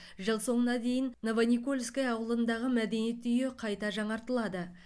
жыл соңына дейін новоникольское ауылындағы мәдениет үйі қайта жаңартылады